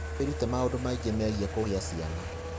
Wĩrute maũndũ maingĩ megiĩ kũgĩa ciana.